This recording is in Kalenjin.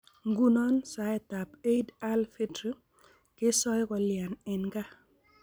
Nguno saetab Eid al-Fitr kesae kolya eng gaa